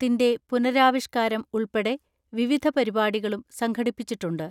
ത്തിന്റെ പുനരാവിഷ്കാരം ഉൾപ്പെടെ വിവിധ പരിപാടികളും സംഘടിപ്പിച്ചിട്ടുണ്ട്.